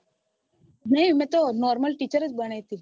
નઈ મેં તો normal teacher જ બની